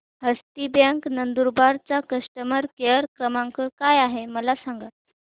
हस्ती bank Nandurbar चा customer care क्रमांक काय आहे हे मला सांगा